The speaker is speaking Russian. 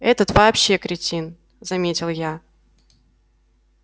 этот вообще кретин заметил я